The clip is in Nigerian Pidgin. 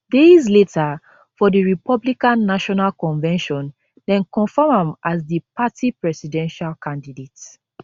days later for di republican national convention dem confam am as di party presidential candidate